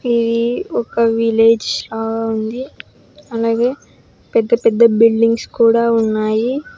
ఇది ఒక విలేజ్ లా ఉంది అలాగే పెద్ద పెద్ద బిల్డింగ్స్ కూడా ఉన్నాయి.